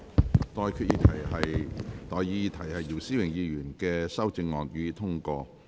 我現在向各位提出的待議議題是：姚思榮議員動議的修正案，予以通過。